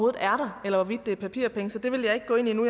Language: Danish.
er der eller hvorvidt det er papirpenge så det vil jeg ikke gå ind i nu